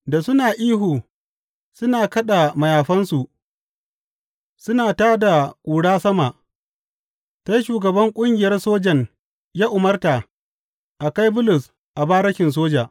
Da suna ihu suna kaɗa mayafansu suna da tā da ƙura sama, sai shugaban ƙungiyar sojan ya umarta a kai Bulus a barikin soja.